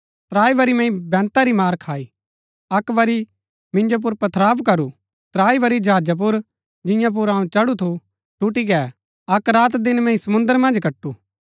त्राई बरी मैंई बैंता री मार खाई अक्क बरी मिन्जो पुर पथराव करू त्राई बरी जहाजा पुर जियां पुर अऊँ चढु थु टूटी गै अक्क रातदिन मैंई समुंद्र मन्ज कटू